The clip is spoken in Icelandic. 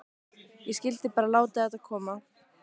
Ég skyldi bara láta þetta koma.